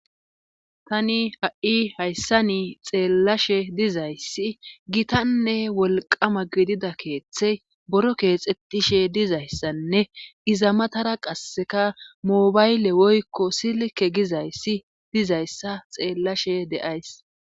Tani ha'i hayssa ni xeellashe dizayssi gitanne wolqama gidida keeththey boro keexxetishe dizayssanne iza matara qasseka moobayle woykko silke gizayssi dizayssa xeellashe deays.